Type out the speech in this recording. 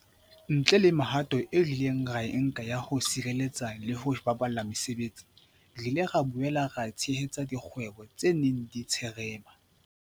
Ntle le mehato eo re ileng ra e nka ya ho sireletsa le ho baballa mesebetsi, re ile ra boela ra tshehetsa dikgwebo tse neng di tsherema.